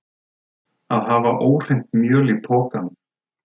Að hafa óhreint mjöl í pokanum